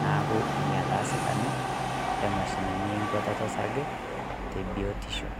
Naaku enia naa sidao emashini enkuata osarge te biotisho.